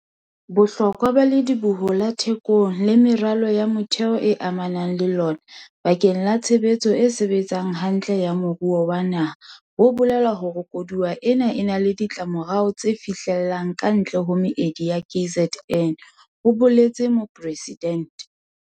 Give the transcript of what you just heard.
"Bohlokwa ba Lediboho la Thekong le meralo ya motheo e amanang le lona bakeng la tshebetso e sebetsang hantle ya moruo wa naha bo bolela hore koduwa ena e na le ditlamorao tse fihlellang kantle ho meedi ya KZN," ho boletse Mopresidente.